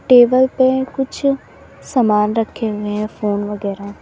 Table पे कुछ समान रखे हुए है फोन वगैरा।